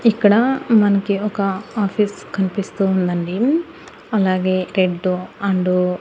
ఇక్కడ మనకి ఒక ఆఫీస్ కనిపిస్తూ ఉండండి అలాగే రెడ్ అండ్ .